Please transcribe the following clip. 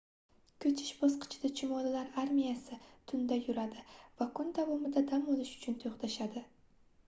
koʻchish bosqichida chumolilar armiyasi tunda yuradi va kun davomida dam olish uchun toʻxtashadi